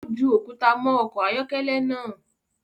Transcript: Ó ju òkúta mọ ọkọ̀ ayọ́kẹ́lẹ́ naa